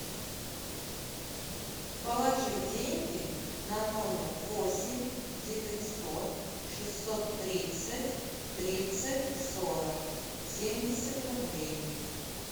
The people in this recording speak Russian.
положи деньги на номер восемь девятьсот шестьсот тридцать тридцать сорок семьдесят рублей